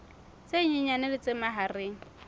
tse nyenyane le tse mahareng